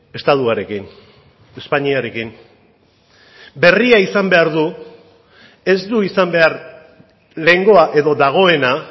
estatuarekin espainiarekin berria izan behar du ez du izan behar lehengoa edo dagoena